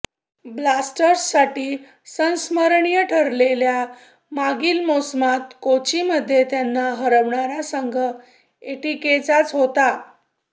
ब्लास्टर्ससाठी संस्मरणीय ठरलेल्या मागील मोसमात कोचीमध्ये त्यांना हरवणारा संघ एटीकेचाच होता